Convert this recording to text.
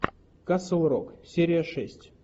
касл рок серия шесть